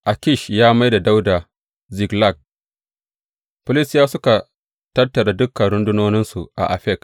Akish ya mai da Dawuda Ziklag Filistiyawa suka tattara dukan rundunoninsu a Afek.